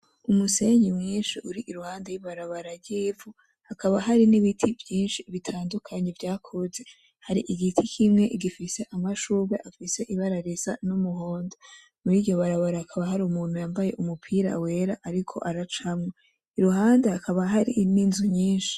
Umusenyi mwinshi uri iruhande y’ibarabara ry'ivu, hakaba hari n’ibiti vyinshi bitandukanye vyakuze, hari igiti kimwe gifise amashurwe afise ibara risa n’umuhondo, muriryo barabara hakaba hari umuntu yambaye umupira wera ariko aracamwo, iruhande hakaba hari n’inzu nyinshi.